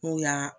N'u y'a